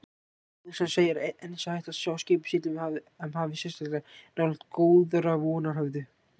Þjóðsagan segir að enn sé hægt að sjá skipið sigla um hafið sérstaklega nálægt Góðrarvonarhöfða.